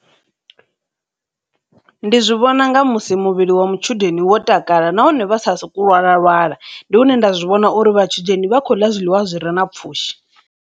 Ndi zwi vhona nga musi muvhili wa matshudeni wo takala nahone vha sa soku lwala lwala, ndi hune nda zwi vhona uri vhathu dzheni vha khou ḽa zwiḽiwa zwi re na pfhushi.